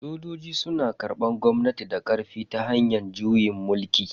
Sojoji suna karbar gwamnati da karfi ta hanyar juyin mulki.